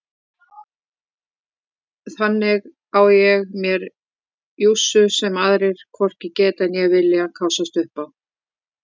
Þarna á ég mér jússu sem aðrir hvorki geta né vilja kássast upp á.